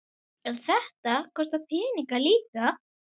En þetta kostar peninga líka?